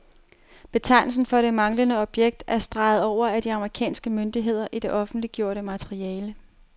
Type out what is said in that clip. Betegnelsen for det manglende objekt er streget over af de amerikanske myndigheder i det offentliggjorte materiale.